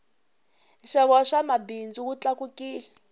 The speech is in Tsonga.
nxavo wa swa mabindzu wu tlakukile